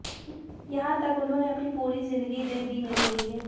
यहां तक उनहोंने अपनी पूरी जिंदगी तक दे दी मेरे लिए